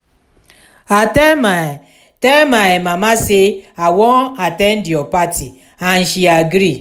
i tell my tell my mama say i wan at ten d your party and she agree